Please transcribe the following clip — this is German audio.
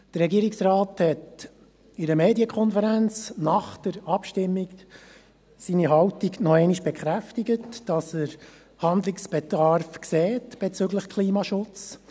Der Regierungsrat hat in einer Medienkonferenz nach der Abstimmung seine Haltung noch einmal bekräftigt, dass er Handlungsbedarf sieht bezüglich Klimaschutz.